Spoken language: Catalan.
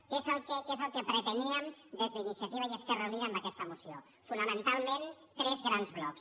què és el que preteníem des d’iniciativa i esquerra uni·da amb aquesta moció fonamentalment tres grans blocs